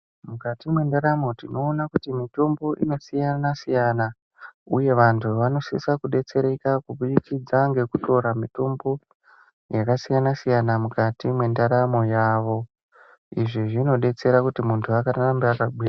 Mukati mwendaramo tinoona kuti mitombo inosiyana siyana uye vantu vanosise kudetsereka kubudikidza ngekutora mitombo yakasiyana siyana mukati mwendaramo yavo. Izvi zvinodetsera kuti muntu arambe akagwinya.